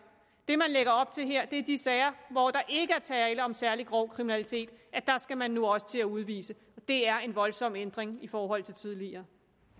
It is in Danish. det man lægger op til her er at i de sager hvor der ikke er tale om særlig grov kriminalitet skal man nu også til at udvise det er en voldsom ændring i forhold til tidligere